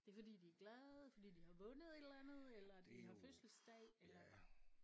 Det er fordi de er glade fordi de har vundet et eller andet eller de har fødselsdag eller